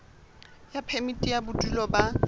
ya phemiti ya bodulo ba